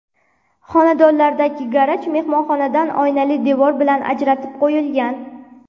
Xonadonlardagi garaj mehmonxonadan oynali devor bilan ajratib qo‘yilgan.